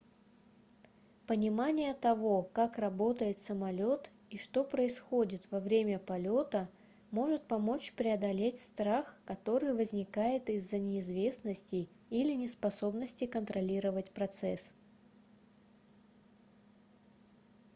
понимание того как работает самолет и что происходит во время полета может помочь преодолеть страх который возникает из-за неизвестности или неспособности контролировать процесс